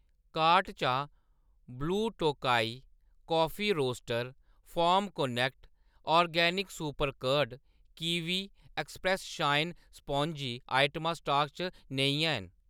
cart चा Blue Tokai Coffee Roaster, Farm Connect Organic Super Curd, Kiwi Express Shine Sponge आइटमां stock च नेईं हैन